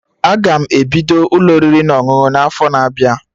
Aga m ebido Ụlọ oriri na ọṅụṅụ n'afo na-abịa